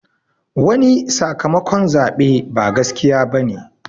Wani sakamakon zaɓe ba gaskiya bane